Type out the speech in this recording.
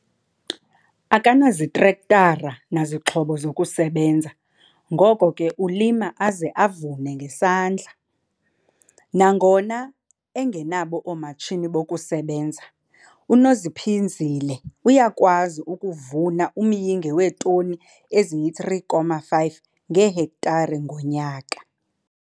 Akanazitrektara nazixhobo zokusebenza ngoko ke ulima aze avune ngesandla. Nangona engenabo oomatshini bokusebenza, uNoziphinzile uyakwazi ukuvuna umyinge weetoni eziyi-3,5 ngehektare ngonyaka.